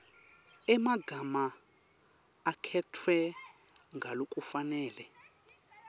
emagama akhetfwe ngalokufanele